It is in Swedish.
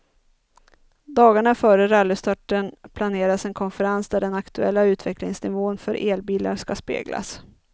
Dagarna före rallystarten planeras en konferens där den aktuella utvecklingsnivån för elbilar ska speglas.